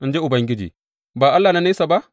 in ji Ubangiji, ba Allah na nesa ba?